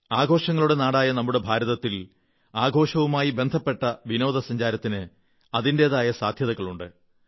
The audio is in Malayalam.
ആഘോഷങ്ങളുടെ നാടായ നമ്മുടെ ഭാരതത്തിൽ ആഘോഷവുമായി ബന്ധപ്പെട്ട വിനോദസഞ്ചാരത്തിന് അതിന്റെതായ സാധ്യതകളുണ്ട്